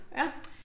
Ja